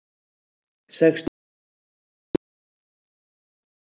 Sextíu manns særðust.